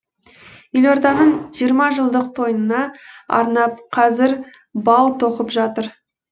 елорданың жиырма жылдық тойына арнап қазір бау тоқып жатыр